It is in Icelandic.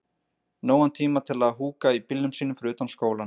Nógan tíma til að húka í bílnum sínum fyrir utan skólann.